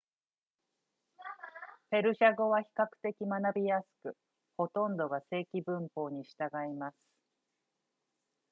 ペルシャ語は比較的学びやすくほとんどが正規文法に従います